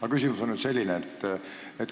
Aga küsimus on selline.